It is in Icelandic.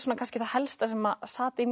kannski það helsta sem